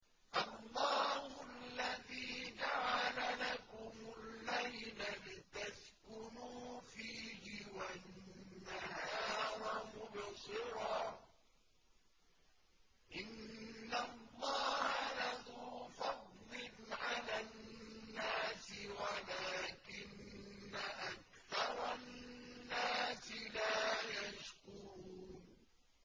اللَّهُ الَّذِي جَعَلَ لَكُمُ اللَّيْلَ لِتَسْكُنُوا فِيهِ وَالنَّهَارَ مُبْصِرًا ۚ إِنَّ اللَّهَ لَذُو فَضْلٍ عَلَى النَّاسِ وَلَٰكِنَّ أَكْثَرَ النَّاسِ لَا يَشْكُرُونَ